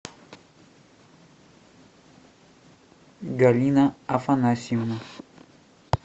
галина афанасьевна